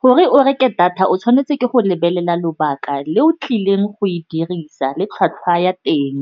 Gore o reke data, o tshwanetse ke go lebelela lobaka le o tlileng go e dirisa le tlhwatlhwa ya teng.